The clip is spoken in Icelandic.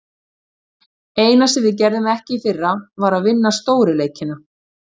Eina sem við gerðum ekki í fyrra, var að vinna stóru leikina.